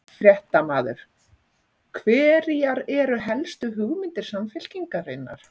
Fréttamaður: Hverjar eru helstu hugmyndir Samfylkingarinnar?